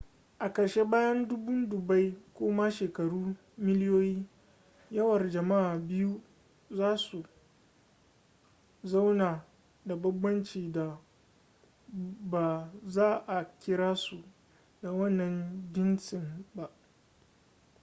a ƙarshe bayan dubun dubbai ko ma shekaru miliyoyi yawar jama'a biyu za su zauna da banbancin da ba za a kira su da wannan jinsin ba